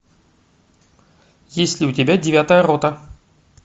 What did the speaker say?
есть ли у тебя девятая рота